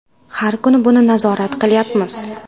Har kuni buni nazorat qilyapmiz.